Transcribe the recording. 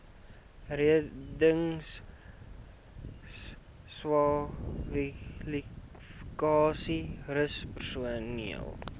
reddingskwalifikasies rus personeel